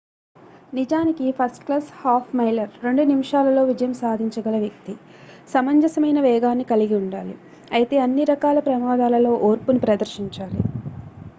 నిజానికి first class half miler రెండు నిమిషాలలో విజయం సాధించగల వ్యక్తి సమంజసమైన వేగాన్ని కలిగి ఉండాలి అయితే అన్ని రకాల ప్రమాదాలలో ఓర్పుని ప్రదర్శించాలి